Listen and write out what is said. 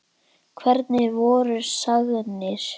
Hvernig voru sagnir?